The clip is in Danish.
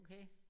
Okay?